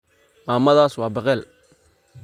Mamadhas waa bakel.